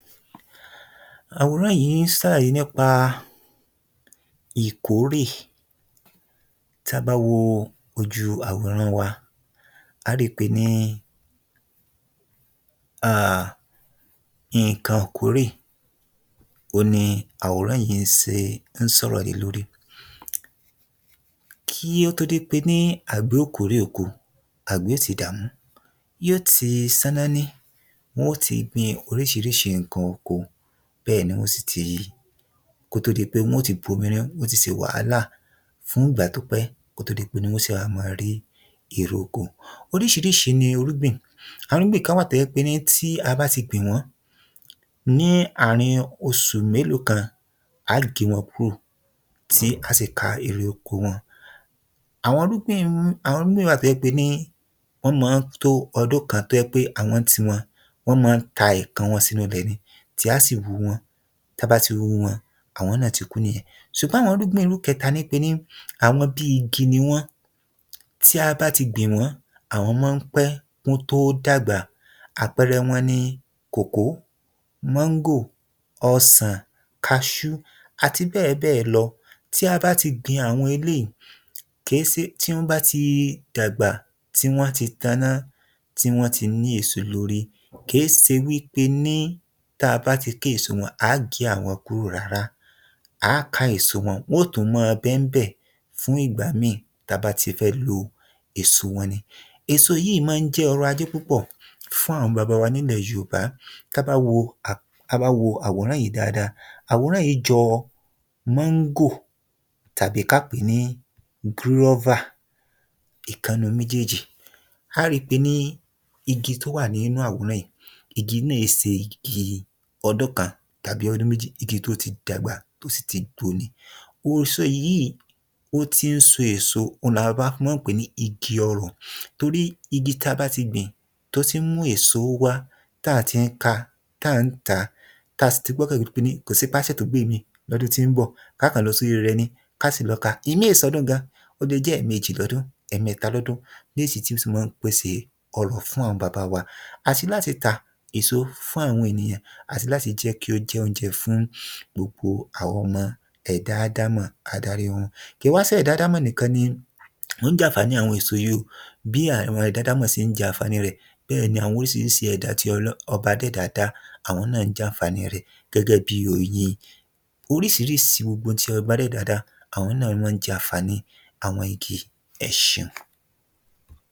Àwòrán yìí ń ṣàlàyé nípa ìkórè tí a bá wo ojú àwòrán wa, a rí pé ní, ha, nǹkan ìkórè ohun ni àwòrán yìí ṣe ń sọ̀rọ̀ lé lórí. Kí ó tó di pé agbẹ̀ yóò kó èrè oko, agbẹ̀ yóò ti dààmú, yóò ti ṣáná rí, wọn tí gbìn oríṣiríṣi nǹkan oko, bẹ́ẹ̀ ni wọn sí tí, kò tó di gbé wọn tí gbé omi lé iná, wọn tí ṣe wàhálà fún ìgbà pípẹ́ kí ó tó di pé wọn ṣe máa wà máa rí èrè oko. Oríṣiríṣi ni Olúgbìn, àwọn Olúgbìn kan wà tí ó jẹ pé tí a bá ti gbìn wọn, ní àárín oṣù mélòó kan, a ó gé wọn kúrò ti a ṣí ká èrè oko wọn. Àwọn irúgbìn, àwọn irúgbìn kan wà tí wọn máa ń tó ọdún kan tí ó jẹ́ pé àwọn ni ti wọn wọn máa ń ta ẹ̀kan wọn sínú ilẹ̀ ni ti a si wu wọn, tí a bá ti wù wọn, àwọn náà tí kú nìyẹn. Ṣùgbọ́n àwọn irúgbìn irú ìkẹtà ni àwọn irú bíi igi ní wọn tí a bá a ti gbìn wọ́n, àwọn máa ń pé kí wọn tó dàgbà, àpẹẹrẹ wọn ní kòkó, máǹgò, ọ̀sàn, kaaṣú àti bẹ́ẹ̀ bẹ́ẹ̀ lọ. Tí a bá ti gbìn àwọn eléyìí, kì í ṣe ti wọn ba ti dàgbà tí wọn tí taná, tí wọn tí ní èso lórí, kì í ṣe wí pé ní tí a bá ti ká èso wọn, a ò gé àwọn kúrò rárá, a ká èso wọn wọn tún máa bẹ níbẹ̀ fún ìgbà míì tí a bá ti fẹ́ lọ èso wọn ní. Èso yìí máa ń jẹ́ ọ̀rọ̀-ajé púpọ̀ fún àwọn bàbá wa nílẹ̀ Yorùbá ti a ba wo, tí a bá wo àwòrán yìí dáadáa, àwòrán yìí jọ máǹgò tàbí kí a pé ní gúrọ́và ìkan nínú méjèèjì. A rí pé ní igi tí ó wà nínú àwòrán yìí, igi náà ì ṣe igi ọdún kan tàbí ọdún méjì, igi tí ó ti dàgbà tí ó sì ti gbó ni. Èso yìí ó ti ń so èso ohun ni àwọn bàbá wa fi máa ń pe ni igi ọrọ̀, torí igi tí a bá a ti gbìn tí ó ti ń mú èso wá, tí a ti kà, tí a ń ta, tí a sì tún ti gbé ọkàn lè kò sí pé a ń gbé ìmí lọ́dún tí ó ń bọ̀, a kò lọ sórí rẹ ni kí a sì lọ ka, ìmí ì ṣe ọdún gan, ó lé jẹ ẹ̀mẹjì, ẹ̀mẹtà lọ́dún bí èso tí máa ń pèsè ọrọ̀ fún àwọn bàbá wa àti láti tà, èso fún àwọn ènìyàn àti láti jẹ kí ó jẹ oúnjẹ fún gbogbo àwa ọmọ ẹ̀dá aádámọ̀ adáríhun, kí wá ń ṣe àwọn ọmọ aádámọ̀ nìkan ni wọn jẹ àǹfààní èso yìí, bí àwọn ẹ̀dá aádámọ̀ ṣe ń jẹ àǹfààní èso bẹ́ẹ̀ ni àwọn oríṣiríṣi ẹ̀dá adẹ́dàá dà àwọn náà ń jẹ àǹfààní rẹ gẹ́gẹ́ bí oyin. Oríṣiríṣi gbogbo ohun tí ọba adẹ́dàá dà àwọn náà ní wọn ń jẹ àǹfààní àwọn igi. Ẹ ṣeun.